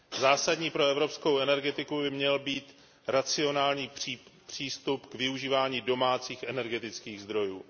Zásadní pro evropskou energetiku by měl být racionální přístup k využívání domácích energetických zdrojů.